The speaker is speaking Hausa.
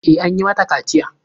E, an yi mata kaciya.